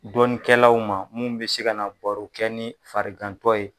Dɔnkɛlaw ma minnu bɛ se ka na ni baro kɛ ni farikantɔ ye.